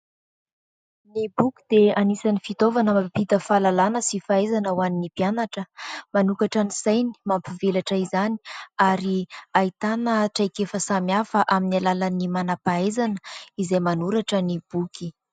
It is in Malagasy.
Ny boky dia anisan'ny fitaovana mampita fahalalana sy fahaizana ho an'ny mpianatra, manokatra ny sainy, mampivelatra izany ary ahitana traikefa samihafa amin'ny alalan'ny manam-pahaizana izay manoratra ny boky.